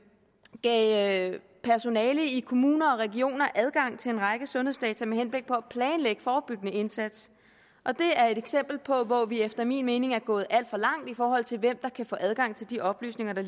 gav personale i kommuner og regioner adgang til en række sundhedsdata med henblik på at planlægge forebyggende indsats og det er et eksempel på hvor vi efter min mening er gået alt for langt i forhold til hvem der kan få adgang til de oplysninger der